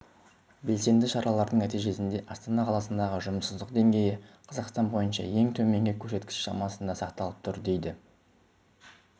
белсенді шаралардың нәтижесінде астана қаласындағы жұмыссыздық деңгейі қазақстан бойынша ең төменгі көрсеткіш шамасында сақталып тұр дейді